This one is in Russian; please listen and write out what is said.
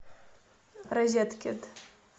розеткед